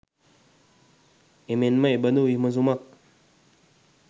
එමෙන්ම එබඳු විමසුමක්